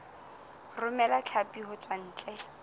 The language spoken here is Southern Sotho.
romela hlapi ho tswa ntle